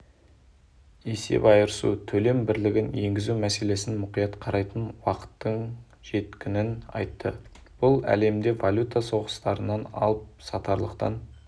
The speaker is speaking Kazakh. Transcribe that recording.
есеп айырысу-төлем бірлігін енгізу мәселесін мұқият қарайтын уақыттың жеткінін айтты бұл әлемді валюта соғыстарынан алып-сатарлықтан